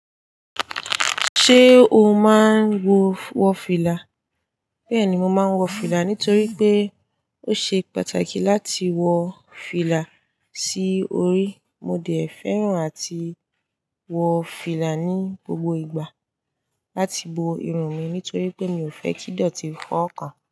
Ṣé o máa ń wọ fìlà? Bẹ́ẹ̀ni, mo máa ń wọ fìlà nítorí pé ó ṣe pàtàkì láti wọ fìlà sí orí. Mo dẹ̀ fẹ́ràn áti wọ fìlà ní gbogbo ìgbà láti bo irun mi nítorí pé mi ò fẹ́ kí ìdọ̀tí fọ́ owọ kàn.